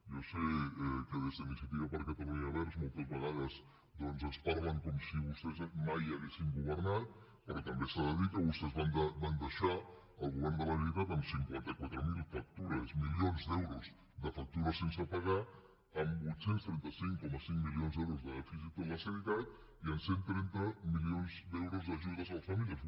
jo sé que des d’iniciativa per catalunya verds moltes vegades doncs ens parlen com si vostès mai haguessin governat però també s’ha de dir que vostès van deixar el govern de la generalitat amb cinquanta quatre mil milions d’euros de factures sense pagar amb vuit cents i trenta cinc coma cinc milions d’euros de dèficit en la sanitat i amb cent i trenta milions d’euros d’ajudes a les famílies